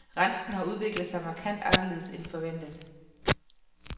Renten har udviklet sig markant anderledes end forventet.